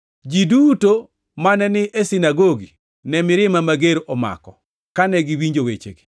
Ji duto mane ni e sinagogi ne mirima mager omako kane giwinjo wechegi.